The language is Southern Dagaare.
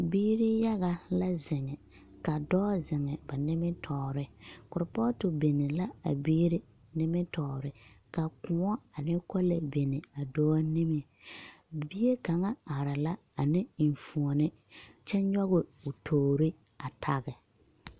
Biiri yaga la zeŋe, ka dɔɔ zeŋe ba nimitɔɔre korepɔɔto bini la a biiri nimitɔɔre, ka kõɔ ane kolee a bini a dɔɔ niŋe bie kaŋ are la ane enfuoni, kyɛ nyɔge o toori a tage.